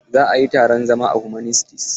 Za a yi taron zama a humanities.